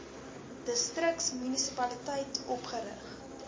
distriks munisipaliteit opgerig